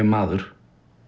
maður